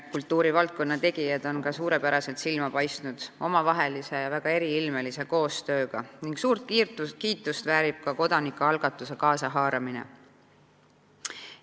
Kultuurivaldkonna tegijad on ka suurepäraselt silma paistnud omavahelise ja väga eriilmelise koostööga ning suurt kiitust väärib ka kodanikualgatuse kaasahaaramine.